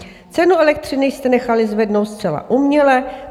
Cenu elektřiny jste nechali zvednout zcela uměle.